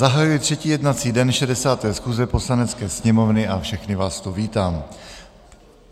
Zahajuji třetí jednací den 60. schůze Poslanecké sněmovny a všechny vás tu vítám.